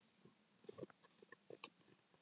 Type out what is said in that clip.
Þó megi enn gera betur.